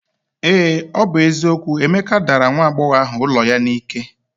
Ee ọ bụ eziokwu, Emeka dara nwa agbọghọ ụlọ ya n'ike